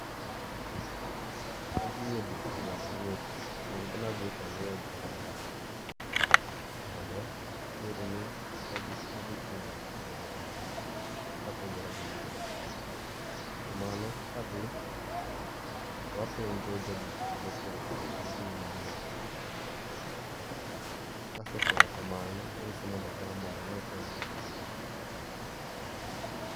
Ka dhie duka mondo a ngiepi onego bed ni adhi ka angeyo gima adwaro mondo kik bed ni adhi chung e mbele duka ka apenjora gima adwaro kuom mano ka adhi to apenjo ja duka no mokwongo ka en gi gima a dwaro no kase kone ka mano to angise mondo ogam ane ka en gima adwaro